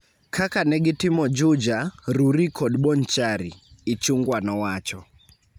kaka ne gitimo Juja, Rurii kod Bonchari," Ichung'wa nowacho.